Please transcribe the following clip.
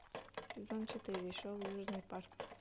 сезон четыре шоу южный парк